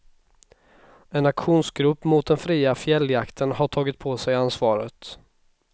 En aktionsgrupp mot den fria fjälljakten har tagit på sig ansvaret.